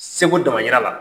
Sego dama yira la.